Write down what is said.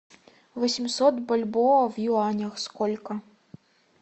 восемьсот бальбоа в юанях сколько